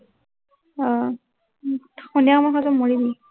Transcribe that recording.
আহ উম সন্ধিয়া সময়ত খাইছ, তই মৰিবি।